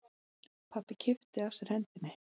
Pabbi kippti að sér hendinni.